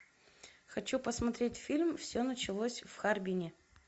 хочу посмотреть фильм все началось в харбине